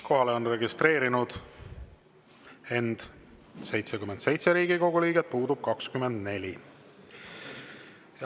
Kohalolijaks on end registreerinud 77 Riigikogu liiget, puudub 24.